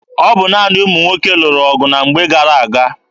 Ọ bụ naanị ụmụ nwoke lụrụ agha na mgbe gara aga.